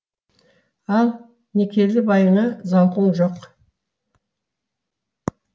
ал некелі байыңа зауқың жоқ